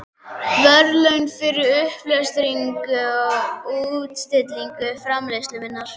verðlaun fyrir uppsetningu og útstillingu framleiðslu minnar.